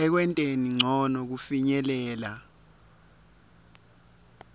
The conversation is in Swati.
ekwenteni ncono kufinyelela